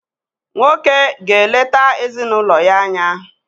Nwoko ga-eleta ezinụlọ ya anya.